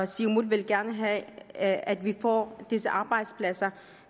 siumut vil gerne have at at vi får disse arbejdspladser